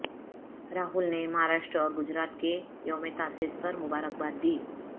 راہل نے مہاراشٹر اور گجرات کے یوم تاسیس پر مبارکباد دی